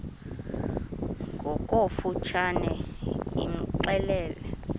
ngokofu tshane imxelele